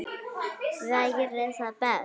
Væri það best?